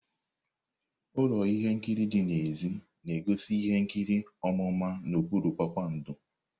Ụlọ ihe nkiri dị n'èzí na-egosi ihe nkiri ọmụma n'okpuru kpakpando.